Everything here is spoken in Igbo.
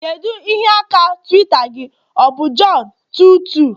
kedu ihe aka Twitter gị, ọ bụ john22?